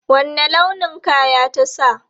Wanne launin kaya ta sa?